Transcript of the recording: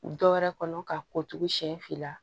Dɔ wɛrɛ kɔnɔ ka ko tugun siɲɛ fila